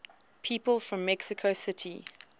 people from mexico city